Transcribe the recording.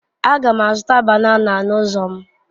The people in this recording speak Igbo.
Aga m azụta banana n'ụzọ m.